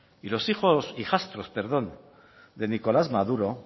y los hijos hijastros perdón de nicolás maduro